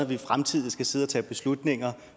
vi i fremtiden skal sidde og tage beslutninger